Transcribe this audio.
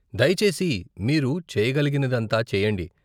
దయచేసి మీరు చేయగలిగినదంతా చేయండి.